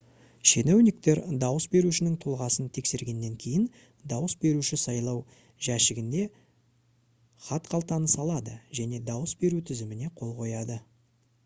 шенеуніктер дауыс берушінің тұлғасын тексергеннен кейін дауыс беруші сайлау жәшігіне хатқалтаны салады және дауыс беру тізіміне қол қояды